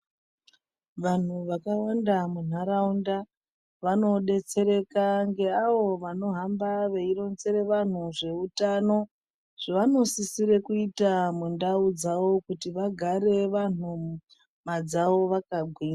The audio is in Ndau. Vantu vakawanda muntaraunda vanodetsereka neavo vanohamba veironzere vantu zveutano zvavanosisira kuita mundau dzavo kuti vagare vantu nyamadzavo vakagwinya.